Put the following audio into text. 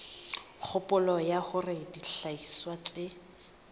kgopolo ya hore dihlahiswa tse